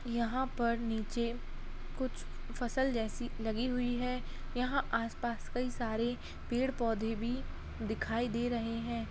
यहाँ पर नीचे कुछ फसल जैसी लगी हुई हैयहाँ आस-पास कई सारे पेड़-पौधे भी दिखाई दे रहे हैं।